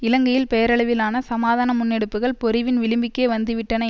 இலங்கையில் பெயரளவிலான சமாதான முன்னெடுப்புகள் பொறிவின் விழிம்புக்கே வந்துவிட்டன